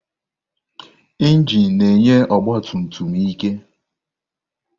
Injin na-enye ọgba tum tum ike.